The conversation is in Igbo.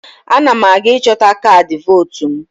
Ana m aga ịchọta kaadị vootu m.